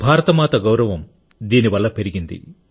భారతమాత గౌరవం దీనివల్ల పెరిగింది